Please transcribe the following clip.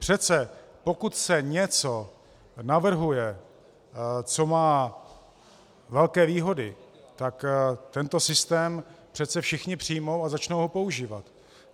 Přece pokud se něco navrhuje, co má velké výhody, tak tento systém přece všichni přijmou a začnou ho používat.